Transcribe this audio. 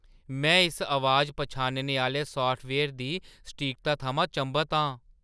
में इस अबाज पन्छानने आह्‌ले साफ्टवेयर दी सटीकता थमां चंभत आं।